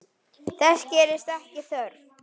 Þess gerist ekki þörf.